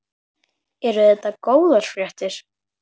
Eru þetta góðar fréttir?